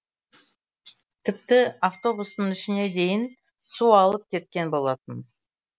тіпті автобустың ішіне дейін су алып кеткен болатын